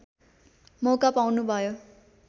मौका पाउनुभयो